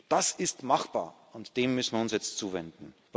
Das ist machbar, und dem müssen wir uns jetzt zuwenden.